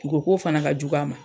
U ko k'o fana ka jugu a ma.